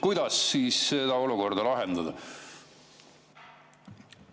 Kuidas seda olukorda lahendada?